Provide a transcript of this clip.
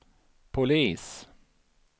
polis